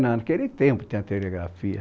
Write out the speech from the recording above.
Naquele tempo tinha telegrafia.